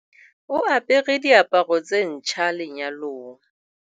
O apere diaparo tse ntjha lenyalong.